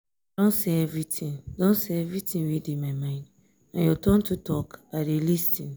i don say everything don say everything wey dey my mind na your turn to talk i dey lis ten